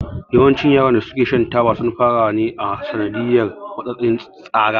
Yawancin yaran da su ke shan taba sun fara ne a sanadiyan matsatsin tsara